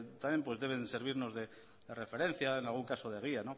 también deben de servirnos de referencia en algún caso de guía